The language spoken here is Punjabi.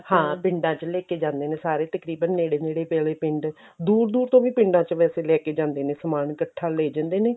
ਹਾਂ ਪਿੰਡਾਂ ਚ ਲੈਕੇ ਜਾਂਦੇ ਨੇ ਸਾਰੇ ਤਕਰੀਬਨ ਨੇੜੇ ਨੇੜੇ ਪੈਂਦੇ ਪਿੰਡ ਦੂਰ ਦੂਰ ਤੋਂ ਵੀ ਪਿੰਡਾਂ ਚ ਵੈਸੇ ਲੈਕੇ ਜਾਂਦੇ ਨੇ ਸਮਾਨ ਇਕੱਠਾ ਲੈ ਜਾਂਦੇ ਨੇ